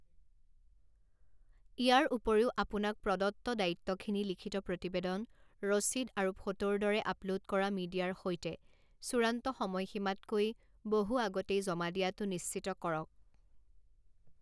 ইয়াৰ উপৰিও আপোনাক প্ৰদত্ত দায়িত্বখিনি লিখিত প্ৰতিবেদন, ৰচিদ আৰু ফোটোৰ দৰে আপলোড কৰা মিডিয়াৰ সৈতে চূড়ান্ত সময়সীমাতকৈ বহু আগতেই জমা দিয়াটো নিশ্চিত কৰক।